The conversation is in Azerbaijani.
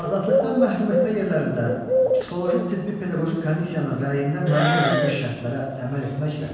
Azadlıqdan məhrum etmə yerlərində psixoloji tibbi pedaqoji komissiyanın rəyində müəyyən edilmiş şərtlərə əməl etməklə